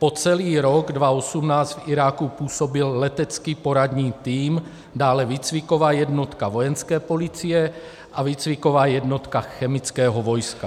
Po celý rok 2018 v Iráku působil letecký poradní tým, dále výcviková jednotka Vojenské policie a výcviková jednotka chemického vojska.